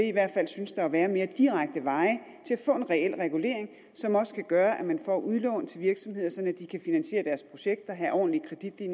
i hvert fald synes der at være mere direkte veje til at få en reel regulering som også kan gøre at man får udlån til virksomheder sådan at de kan finansiere deres projekter have ordentlige